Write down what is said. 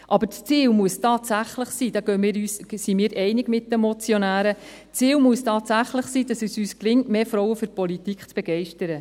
Das Ziel muss tatsächlich sein – darin gehen wir mit den Motionären einig –, dass es uns gelingt, mehr Frauen für die Politik zu begeistern.